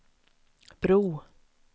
bro